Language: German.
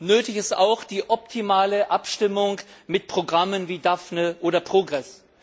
Nötig ist auch die optimale Abstimmung mit Programmen wie Daphne oder PROGRESS.